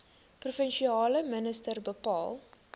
provinsiale minister bepaal